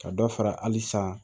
Ka dɔ fara hali san